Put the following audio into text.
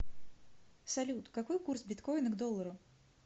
салют какой курс биткоина к доллару